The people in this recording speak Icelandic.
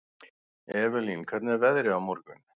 Evelyn, hvernig er veðrið á morgun?